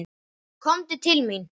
Komdu til mín!